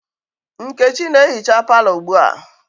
Nkechi na-ehicha palọ ugbua.